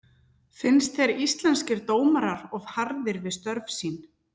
Finnst þér Íslenskir dómarar of harðir við störf sín?